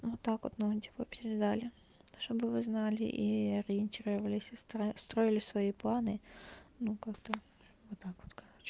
вот так вот ну типа передали то чтобы вы знали и ориентировались и строили свои планы ну как-то вот так вот короче